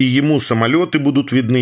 и ему самолёты будут видны